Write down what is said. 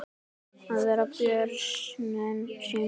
Að verja börnin sín.